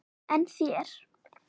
En þér?